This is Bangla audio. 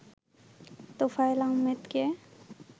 তোফায়েল আহমেদকে